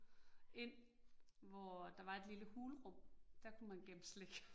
Ind, hvor at der var et lille hulrum, der kunne man gemme slik